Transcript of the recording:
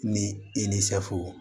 Ni i ni